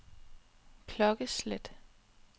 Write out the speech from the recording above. klokkeslæt